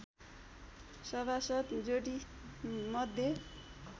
सभासद् जोडी मध्ये